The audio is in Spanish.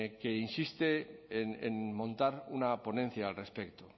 que insiste en montar una ponencia al respecto